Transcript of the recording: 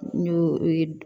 N y'o ye